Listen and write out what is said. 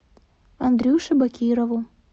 андрюше бакирову